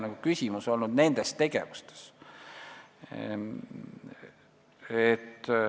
Pigem on küsimus olnud nendes tegevustes.